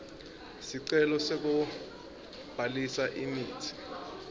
sicelo sekubhalisa imitsi